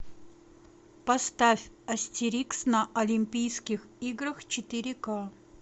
поставь астерикс на олимпийских играх четыре ка